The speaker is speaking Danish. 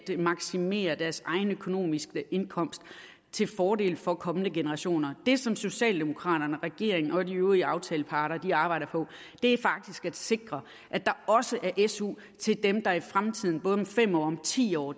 maksimere deres egen økonomiske indkomst til fordel for kommende generationer det som socialdemokraterne og regeringen og de øvrige aftaleparter arbejder på er faktisk at sikre at der også er su til dem der i fremtiden både om fem år og om ti år